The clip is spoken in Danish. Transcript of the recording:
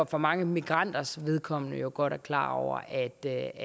for mange migranters vedkommende jo godt er klar over at det